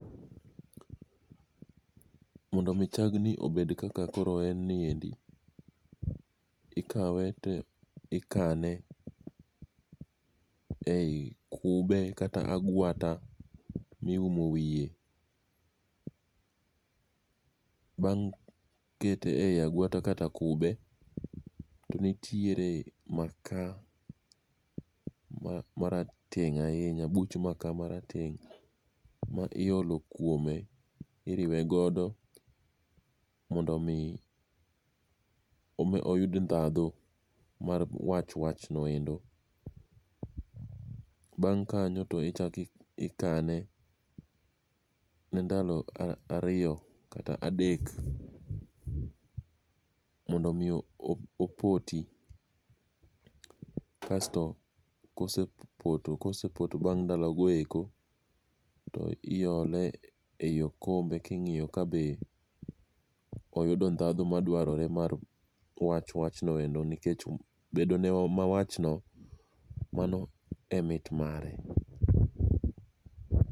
Mondo mi chag ni obed kaka koro en niendi, ikawe to ikane ei kube kata agwata. miumo wiye. Bang' kete ei agwata kata kube to nitiere maka marazteng' ahinya buch maka marateng' miriwe godo mondo mi oyud ndhadhu mar wach wach nendo. Bang' mano to ichako ikane mar ndalo ariso kata adek mondo mi opoti. Kasto kosepoto kosepoto bang' ndalo goeki toile ei okombe king'iyo kabe oyudo ndhadhu madwarore mar wach wach noendo nikech bedone mawach no mano emit mare.